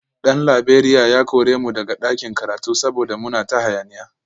Dan Laberiya ya kore mu daga ɗakin karatu saboda muna ta hayaniya